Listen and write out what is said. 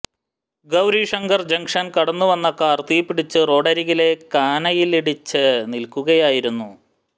Gaurishankar junction കടന്നു വന്ന car തീപിടിച്ച് റോഡരികിലെ കാനയിലിടിച്ച് നിൽക്കുകയായിരുന്നു